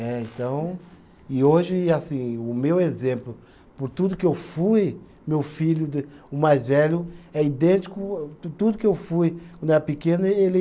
É, então, e hoje, assim, o meu exemplo, por tudo que eu fui, meu filho de, o mais velho, é idêntico, tu tudo que eu fui, quando eu era pequeno, ele ele